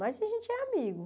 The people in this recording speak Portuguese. Mas a gente é amigo.